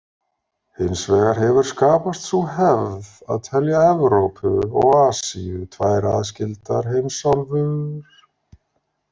Hins vegar hefur skapast sú hefð að telja Evrópu og Asíu tvær aðskildar heimsálfur.